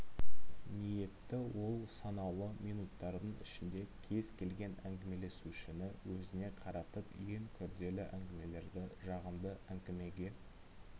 ниетті ол санаулы минуттардың ішінде кез келген әңгімелесушіні өзіне қаратып ең күрделі әңгімелерді жағымды әңгімеге